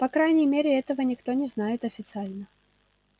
по крайней мере этого никто не знает официально